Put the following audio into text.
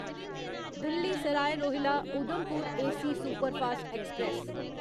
Delhi Sarai Rohilla Udhampur AC superfast express